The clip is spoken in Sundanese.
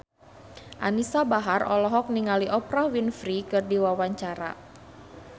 Anisa Bahar olohok ningali Oprah Winfrey keur diwawancara